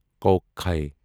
کۄکھٕے